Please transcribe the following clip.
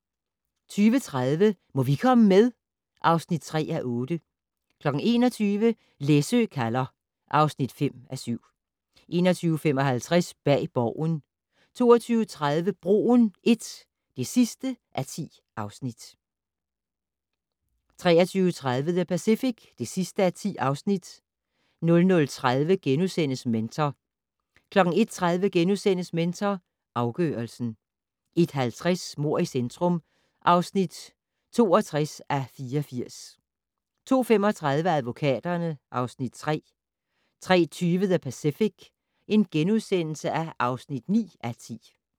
20:30: Må vi komme med? (3:8) 21:00: Læsø kalder (5:7) 21:55: Bag Borgen 22:30: Broen I (10:10) 23:30: The Pacific (10:10) 00:30: Mentor * 01:30: Mentor afgørelsen * 01:50: Mord i centrum (62:84) 02:35: Advokaterne (Afs. 3) 03:20: The Pacific (9:10)*